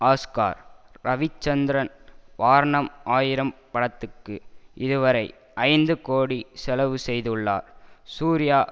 Oscar Ravichandran Vaaranam Aayiram படத்துக்கு இதுவரை ஐந்து கோடி செலவு செய்துள்ளார் சூர்யா